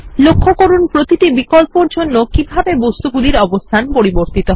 লক্ষ্য করুন প্রতিটি বিকল্পের জন্য কিভাবে বস্তুগুলির অবস্থান পরিবর্তিত হয়